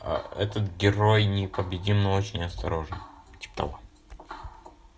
этот герой непобедим но очень осторожен типо того